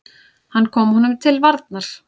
Hann kom honum til varnar.